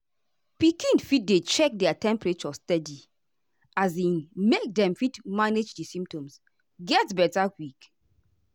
pikin fit dey check their temperature steady um make dem fit manage di symptoms get beta quick.